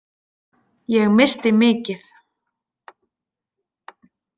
Ég missti mikið.